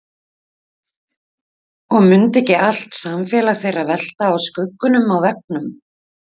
Og mundi ekki allt samfélag þeirra velta á skuggunum á veggnum?